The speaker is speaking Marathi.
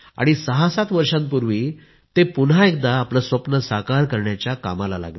67 वर्षांपूर्वी ते पुन्हा एकदा आपलं स्वप्न साकार करण्याच्या कामाला लागले